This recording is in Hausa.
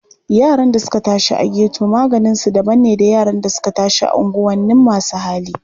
Yaran da suka tashi a geto maganinsu daban ne da yara da suka tashi a unguwanin masu hali.